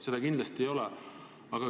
Seda kindlasti ei ole.